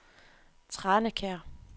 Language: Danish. Tranekær